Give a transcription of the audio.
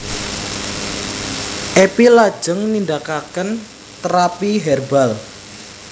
Epi lajeng nindakaken terapy herbal